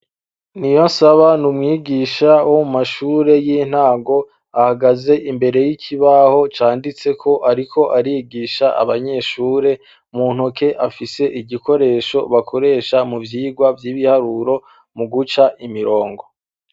niyonsaba n'umwigisha wo mashure y'intango ahagaze imbere y'ikibaho canditseko ariko arigisha abanyeshure muntoke afise igikoresho bakoresha mu vyigwa vy'ibiharuro muguca imirongo